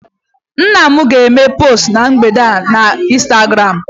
nna m ga-eme post a na mgbede a na Instagram